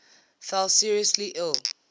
fell seriously ill